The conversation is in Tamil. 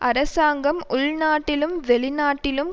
அரசாங்கம் உள்நாட்டிலும் வெளிநாட்டிலும்